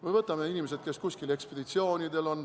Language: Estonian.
Või võtame inimesed, kes on kuskil ekspeditsioonidel.